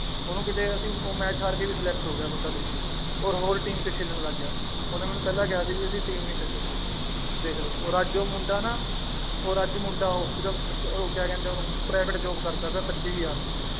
ਉਹਨੂੰ ਕਿਤੇ ਅਸੀਂ ਉਹ match ਹਾਰ ਕੇ ਵੀ select ਹੋ ਗਿਆ ਬੰਦਾ ਦੇਖ ਲਓ ਔਰ ਹੋਰ team ਚ ਖੇਲਣ ਲੱਗ ਗਿਆ, ਉਹਨੇ ਮੈਨੂੰ ਪਹਿਲਾਂ ਕਿਹਾ ਸੀ ਵੀ ਅਸੀਂ team ਨੀ ਛੱਡੋਂਗੇ ਦੇਖ ਲਓ ਔਰ ਅੱਜ ਉਹ ਮੁੰਡਾ ਨਾ ਔਰ ਅੱਜ ਮੁੰਡਾ ਉਹ ਸਿਰਫ਼ ਉਹ ਕਿਆ ਕਹਿੰਦੇ ਹੈ ਉਹਨੂੰ private job ਕਰਦਾ ਪਿਆ ਪੱਚੀ ਹਜ਼ਾਰ ਦੀ।